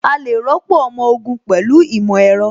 A lè rọ́pò ọmọ ogun pẹ̀lú ìmọ̀ ẹ̀rọ